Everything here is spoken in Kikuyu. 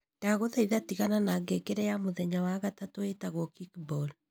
Ndagũthaitha tigana na ngengere ya mũthenya wa gatatũ ĩĩtagwo Kickball